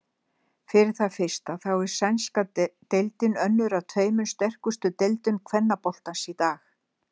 Fyrir það fyrsta þá er sænska deildin önnur af tveimur sterkustu deildum kvennaboltans í dag.